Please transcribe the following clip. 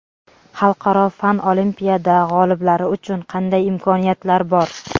Xalqaro fan olimpiada g‘oliblari uchun qanday imkoniyatlar bor?.